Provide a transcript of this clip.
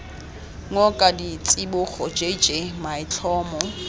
ngoka ditsibogo j j maitlhomo